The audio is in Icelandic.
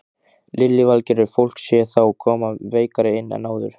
Lillý Valgerður: Fólk sé þá koma veikara inn en áður?